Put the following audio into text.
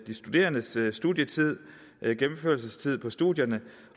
studerendes studietid gennemførelsestiden på studierne